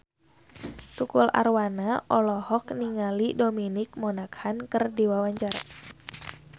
Tukul Arwana olohok ningali Dominic Monaghan keur diwawancara